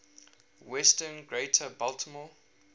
western greater baltimore